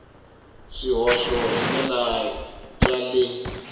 swihoxo hi ndlela ya le